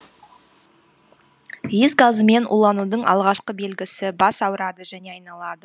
иіс газымен уланудың алғашқы белгісі бас ауырады және айналады